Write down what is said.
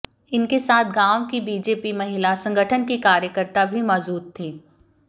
इनके साथ गांव की बीजेपी महिला संगठन की कार्यकर्ता भी मौजूद थीं